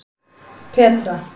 Petra